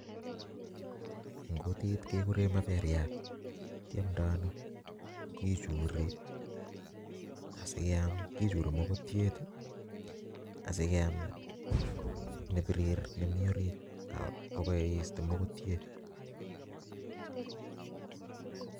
En kutit kekuren maperiat, kiomdo Ono kichuri asiam kichuri mokotyet asikeam nepirir nemii orit akoiste mokotyet.